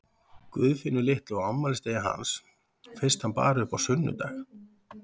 Guðfinnu litlu á afmælisdegi hans fyrst hann bar upp á sunnudag.